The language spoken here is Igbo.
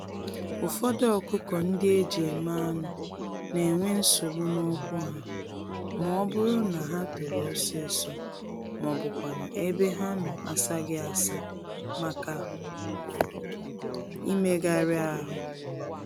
Ụfọdụ ọkụkọ-ndị-eji-eme-anụ n'enwe nsogbu n'ụkwụ ha, mọbụrụ na ha tòrò ọsịsọ, mọbụkwanụ̀ ebe ha nọ asaghị-asa màkà imegàrà ahụ.